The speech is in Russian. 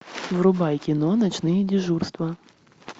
врубай кино ночные дежурства